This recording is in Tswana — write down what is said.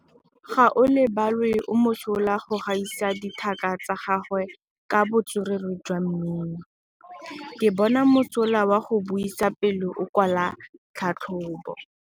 Gaolebalwe o mosola go gaisa dithaka tsa gagwe ka botswerere jwa mmino. Ke bone mosola wa go buisa pele o kwala tlhatlhobô.